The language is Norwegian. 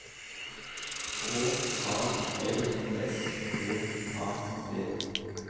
K A L S T A D